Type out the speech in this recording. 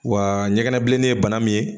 Wa ɲɛgɛnɛ bilennin ye bana min ye